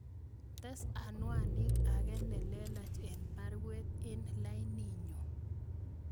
Tes anwanit age nelelach en baruet en laininyun